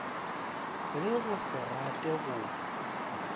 le go se rate go